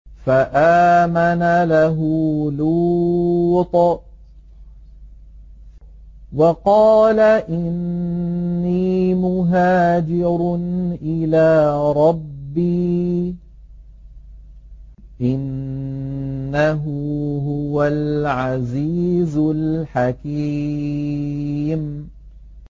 ۞ فَآمَنَ لَهُ لُوطٌ ۘ وَقَالَ إِنِّي مُهَاجِرٌ إِلَىٰ رَبِّي ۖ إِنَّهُ هُوَ الْعَزِيزُ الْحَكِيمُ